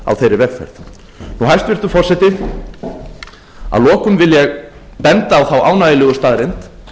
á þeirri vegferð hæstvirtur forseti að lokum vil ég benda á þá ánægjulegu staðreynd